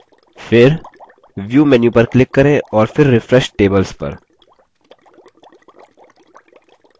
फिर view menu पर click करें और फिर refresh tables पर